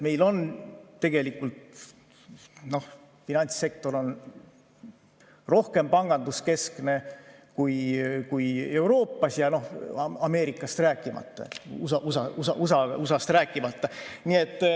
Meil on tegelikult finantssektor rohkem panganduskeskne kui Euroopas, USA‑st rääkimata.